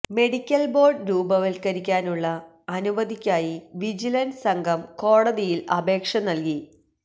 medical board രൂപവത്കരിക്കാനുള്ള അനുമതിക്കായി vigilance സംഘം കോടതിയിൽ അപേക്ഷ നൽകി